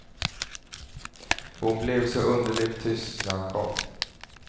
Hon blev så underligt tyst när han kom.